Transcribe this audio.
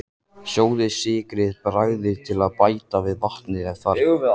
Sjóðið, sykrið, bragðið til og bætið við vatni ef þarf.